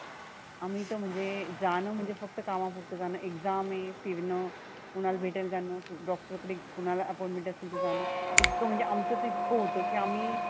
आम्ही तर म्हणजे जानं म्हणजे फक्त कामा पुरत जानं exam हे फिरणंं कुणाला भेटायला जाणं doctor कडे कुणाला appointment आसलं तर जाणं इतक म्हणजे आमच तर इतक होतं की आम्ही